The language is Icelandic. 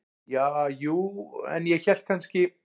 Ja, jú, en ég hélt kannski.